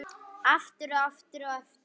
Aftur, og aftur, og aftur.